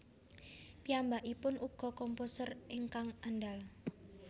Piyambakipun ugia komposer ingkang andal